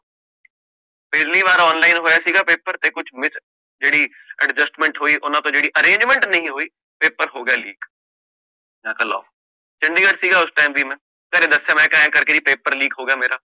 ਪਹਿਲੀ ਵਾਰ online ਹੋਇਆ ਸੀਗਾ paper ਤੇ ਕੁਛ miss ਜਿਹੜੀ adjustment ਹੋਇ ਓਹਨਾ ਤੋਂ ਜਿਹੜੀ arrangement ਨੀ ਹੋਇ, paper ਹੋ ਗਿਆ leak, ਮੈਂ ਕਹ ਲਓ, ਚੰਡੀਗੜ੍ਹ ਸੀਗਾ ਉਸ ਟੀਮ ਭੀ ਮੈਂ, ਘਰੇ ਦਸਿਆ ਮੈਂ ਕਹ ਆਏ ਕਰਕੇ ਜੀ paper leak ਹੋ ਗਿਆ ਮੇਰਾ